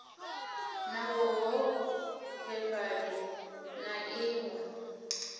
na vhuholefhali na iv u